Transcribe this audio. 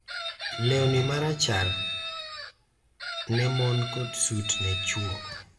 lewni marachar ne mon kod sut ne chwo .